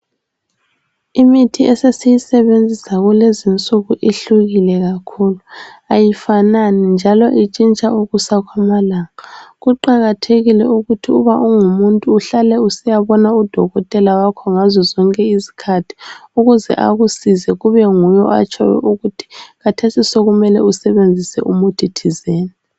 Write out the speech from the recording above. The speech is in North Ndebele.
Imithi esesiyisebenzisa kulezi insuku ihlukile kakhulu. Kayifanani, njalo itshintsha ukusa kwamalanga Kuqakathekile ukuthi uba ungumuntu, uhlale usiyabona udokotela wakho ngaso sonke isikhathi. Ukuze akusize. Kube nguye otshoyo ukuthi khathesi sekumele usebenzise umuthi thizeni.